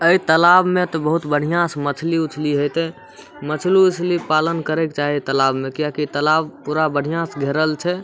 ए तालाब मे ते बहुत बढियाँ से मछली उछली हतय मछली-उछली पालन करे के चाही तालाब मे किया की तालाब बहुत बढ़ियाँ से घरेल छै ।